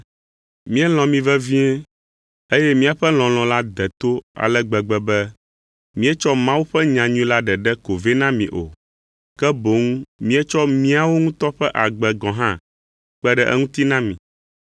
Míelɔ̃ mi vevie, eye míaƒe lɔlɔ̃ la de to ale gbegbe be míetsɔ Mawu ƒe nyanyui la ɖeɖe ko vɛ na mi o, ke boŋ míetsɔ míawo ŋutɔ ƒe agbe gɔ̃ hã kpe ɖe eŋuti na mi.